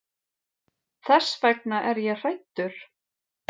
Þess vegna er ég hræddur.